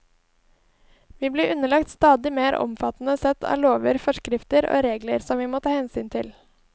Vi blir underlagt stadig mer omfattende sett av lover, forskrifter og regler som vi må ta hensyn til.